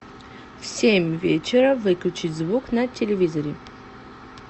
в семь вечера выключить звук на телевизоре